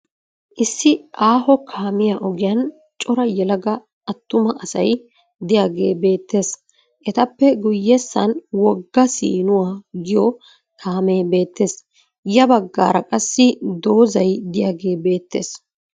Issi aaho kaamiya ogiyan cora yelaga attuma asay diyagee beettes. Etappe guyyessan wogga siinuwa giyo kaamee beettes. Ya baggaara qassi dozzay diyagee beettes.